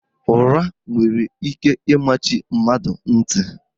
Ụra nwere ike ịmachi mmadụ ntị